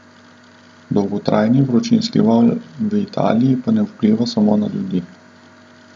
Dolgotrajni vročinski val v Italiji pa ne vpliva samo na ljudi.